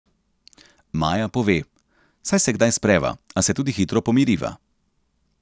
Maja pove: "Saj se kdaj spreva, a se tudi hitro pomiriva.